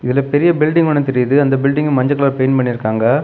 இதுல பெரிய பில்டிங் ஒன்னு தெரியுது. அந்த பில்டிங்ல மஞ்ச கலர் பெயிண்ட் பண்ணிருக்காங்க.